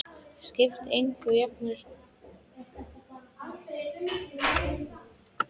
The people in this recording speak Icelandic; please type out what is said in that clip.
Skiptir engu, jafnvel þótt þú hefðir það við höndina.